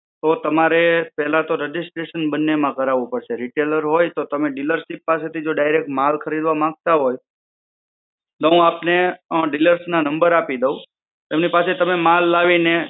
તો તમારે પહેલા તો registration બંનેમાં કરાવવું પડશે. retailer હોય તો તમે dealership પાસેથી જો direct માલ ખરીદવા માંગતા હોય, તો હુન્ન આપને અ dealers ના નંબર આપી દઉં. એમની પાસે માલ લાવીને